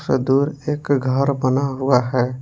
ये दूर एक घर बना हुआ है।